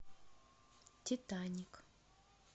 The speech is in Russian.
титаник